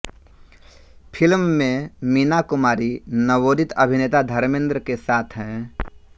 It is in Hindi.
फिल्म में मीना कुमारी नवोदित अभिनेता धर्मेंद्र के साथ हैं